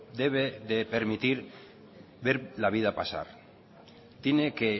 debe de permitir ver la vida pasar tiene que